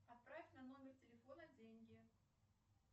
отправь на номер телефона деньги